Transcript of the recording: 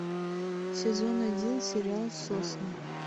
сезон один сериал сосны